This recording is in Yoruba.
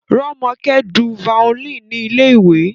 Romoke dùn violin ni ilé-ìwé